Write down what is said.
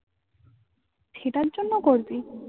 সেটার জন্য করবি?